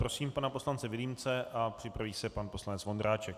Prosím pana poslance Vilímce a připraví se pan poslanec Vondráček.